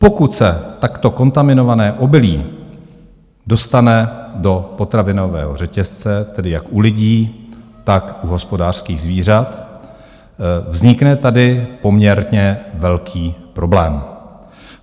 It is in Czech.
Pokud se takto kontaminované obilí dostane do potravinového řetězce, tedy jak u lidí, tak u hospodářských zvířat, vznikne tady poměrně velký problém.